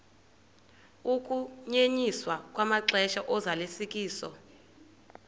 ukunyenyiswa kwamaxesha ozalisekiso